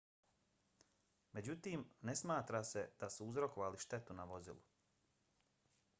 međutim ne smatra se da su uzrokovali štetu na vozilu